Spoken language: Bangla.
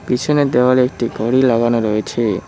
পিছনের দেওয়ালে একটি ঘড়ি লাগানো রয়েছে।